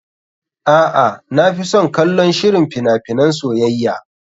A'a, na fi son kallon shirin fina finan soyayya.